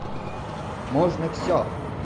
можно все